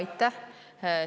Aitäh!